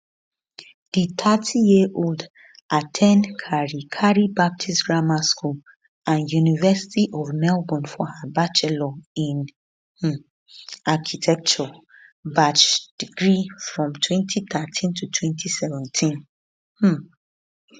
di 30yearold at ten d carey carey baptist grammar school and university of melbourne for her bachelor in um architecture barch degree from 2013 to 2017 um